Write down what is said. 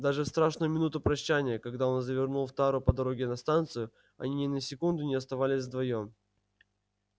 даже в страшную минуту прощанья когда он завернул в тару по дороге на станцию они ни на секунду не оставались вдвоём